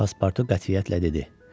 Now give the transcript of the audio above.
Paspartu qətiyyətlə dedi.